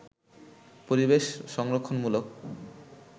পরিবেশ সংরক্ষণমূলক